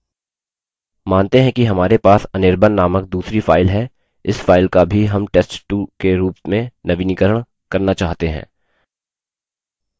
मानते हैं कि हमारे पास anirban named दूसरी file है इस file का भी हम test2 के रूप में नवीनीकरण करना चाहते हैं